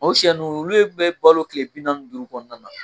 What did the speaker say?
O sɛ ninnu olu bɛ balo tile bi naani ni duuru kɔnɔna na